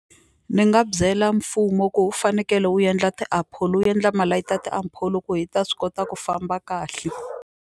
Ni nga byela mfumo ku wu fanekele wu endla ti-apollo wu endla malayiti ya apollo ku hi ta swi kota ku famba kahle.